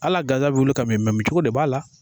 Hala gansan bi wuli ka mi cogo de b'a la.